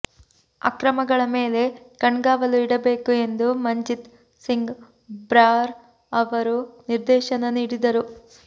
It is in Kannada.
ಅಕ್ರಮಗಳ ಮೇಲೆ ಕಣ್ಗಾವಲು ಇಡಬೇಕು ಎಂದು ಮಂಜಿತ್ ಸಿಂಗ್ ಬ್ರಾರ್ ಅವರು ನಿರ್ದೇಶನ ನೀಡಿದರು